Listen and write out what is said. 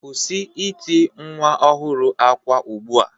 Kwụsị ịti nwa ọhụrụ akwa ugbu a.